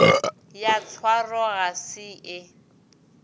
ya tshwaro ga se e